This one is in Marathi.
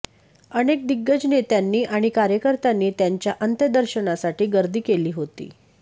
अनेक दिग्गज नेत्यांनी आणि कार्यकर्त्यांनी त्यांच्या अंत्यदर्शनासाठी गर्दी केली होती